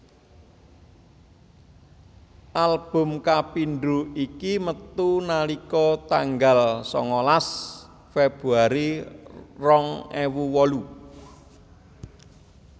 Album kapindho iki metu nalika tanggal sangalas Februari rong ewu wolu